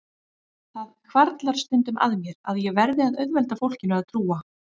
Það hvarflar stundum að mér að ég verði að auðvelda fólkinu að trúa